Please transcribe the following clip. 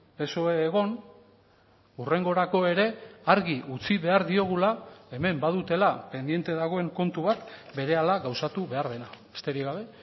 psoe egon hurrengorako ere argi utzi behar diogula hemen badutela pendiente dagoen kontu bat berehala gauzatu behar dena besterik gabe